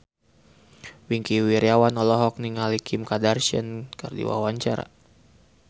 Wingky Wiryawan olohok ningali Kim Kardashian keur diwawancara